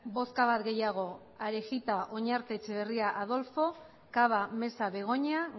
bozka bat gehiago arejita oñarte etxebarria adolfo cava mesa begoña